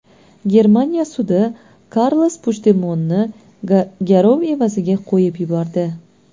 Germaniya sudi Karles Puchdemonni garov evaziga qo‘yib yubordi.